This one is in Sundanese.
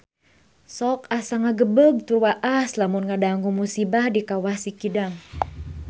Sok asa ngagebeg tur waas lamun ngadangu musibah di Kawah Sikidang